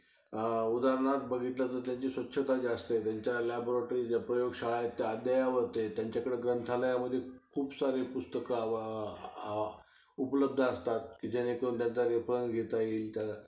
उदाहरणार्थ बघितलं तर त्यांची स्वच्छता जी असते त्यांच्या laboratories ज्या प्रयोगशाळा आहेत त्या अद्यावत आहेत. त्यांच्याकडं ग्रंथालयामध्ये खूप सारे पुस्तकं उपलब्ध असतात कि जेणेकरून त्यांचा reference घेता येईल तर